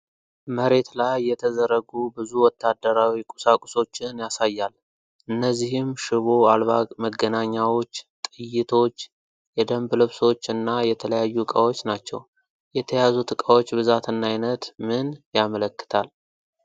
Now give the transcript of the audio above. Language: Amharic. መሬት ላይ የተዘረጉ ብዙ ወታደራዊ ቁሳቁሶችን ያሳያል። እነዚህም ሽቦ አልባ መገናኛዎች፣ ጥይቶች፣ የደንብ ልብሶች እና የተለያዩ ዕቃዎች ናቸው። የተያዙት ዕቃዎች ብዛትና ዓይነት ምን ያመለክታል?